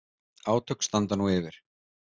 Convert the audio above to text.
Átök standa nú yfir